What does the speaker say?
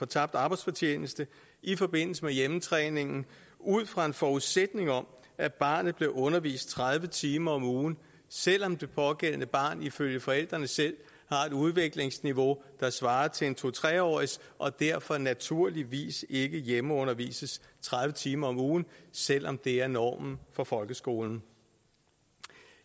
tabt arbejdsfortjeneste i forbindelse med hjemmetræningen ud fra en forudsætning om at barnet blev undervist tredive timer om ugen selv om det pågældende barn ifølge forældrene selv har et udviklingsniveau der svarer til en to tre årig s og derfor naturligvis ikke hjemmeundervises tredive timer om ugen selv om det er normen for folkeskolen